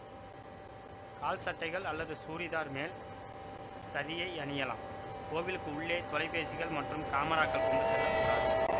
கால்சட்டைகள் அல்லது சூரிதார் மேல் ததியை அணியலாம் கோவிலுக்கு உள்ளே தொலைபேசிகள் மற்றும் காமராக்கள் கொண்டு செல்ல கூடாது